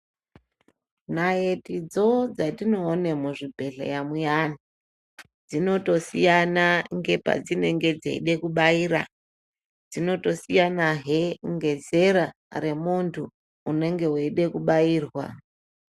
Naitidzo dzatinoona muzvibhedhleya muyani dzinotosiyana ngepadzinenge dzeida kubaira. Dzinotosiyanahe ngezera remuntu unenge veida kubairwa.